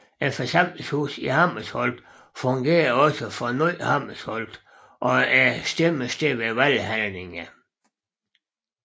Forsamlingshuset i Hammersholt fungerer også for Ny Hammersholt og er stemmested ved valghandlinger